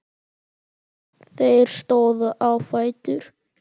Þeir stóðu á fætur.